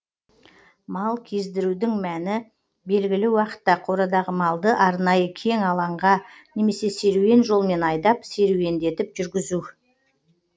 мал кездірудің мәні белгілі уақытта қорадағы малды арнайы кең алаңға немесе серуен жолмен айдап серуеңдетіп жүргізу